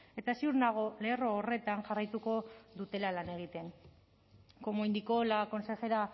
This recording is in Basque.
eta ziur nago lerro horretan jarraituko dutela lan egiten como indicó la consejera